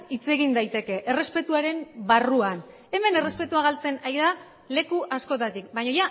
hitz egin daiteke errespetuaren barruan hemen errespetua galtzen ari da leku askotatik baina